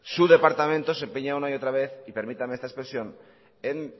su departamento se empeña una y otra vez y permítame esta expresión en